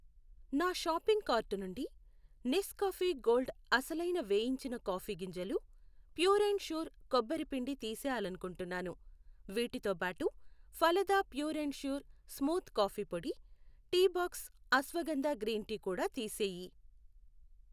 నా shopping cart నుండి Nescafe gold అసలైన వేయించిన కాఫీ గింజలు, ప్యూర్ అండ్ ష్యూర్ కొబ్బరి పిండి తీసేయాలనుకుంటున్నాను. వీటితోబాటు Phalada pure and sure smooth coffee పొడి, Teabox ashwagandha green tea కూడా తీసేయి .